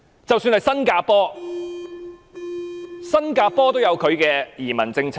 即使是新加坡也有本身的移民政策。